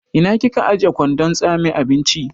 Ina kika ajiye kwandon tsame abinci?